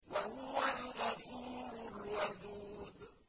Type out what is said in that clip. وَهُوَ الْغَفُورُ الْوَدُودُ